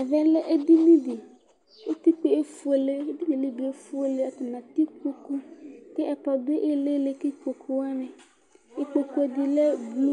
Ɛvɛ lɛ edini li utikpa yɛ efuele edini yɛ li bi efuele atani atɛ kpokpu ku ɛkplɔ du ilili ku kpokpuwani ikpokpu di lɛ blu